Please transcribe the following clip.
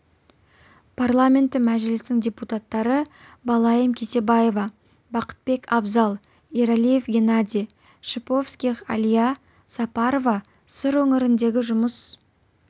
парламенті мәжілісінің депутаттары балайым кесебаева бақытбек абзал ералиев генадий шиповских алия сапарова сыр өңіріндегі жұмыс